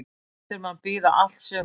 Lætur mann bíða allt sumarið.